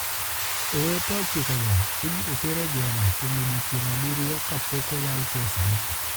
Owete ochikogo ibiro ter e jela kuom odiechienge abiriyo ka pok oyal kesgi.